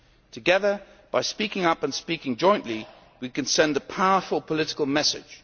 Together, by speaking up and speaking jointly, we can send a powerful political message.